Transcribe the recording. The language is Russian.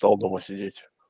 то дома сидеть